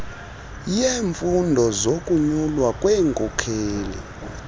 yeemfuno zokunyulwa kwenkokheli